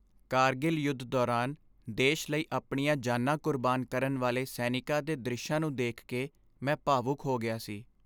ਕਾਰਗਿਲ ਯੁੱਧ ਦੌਰਾਨ ਦੇਸ਼ ਲਈ ਆਪਣੀਆਂ ਜਾਨਾਂ ਕੁਰਬਾਨ ਕਰਨ ਵਾਲੇ ਸੈਨਿਕਾਂ ਦੇ ਦ੍ਰਿਸ਼ਾਂ ਨੂੰ ਦੇਖ ਕੇ ਮੈਂ ਭਾਵੁਕ ਹੋ ਗਿਆ ਸੀ।